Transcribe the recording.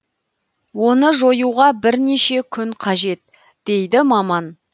оны жоюға бірнеше күн қажет дейді маман